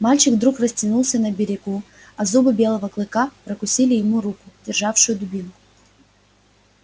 мальчик вдруг растянулся на берегу а зубы белого клыка прокусили ему руку державшую дубинку